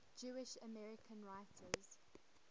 jewish american writers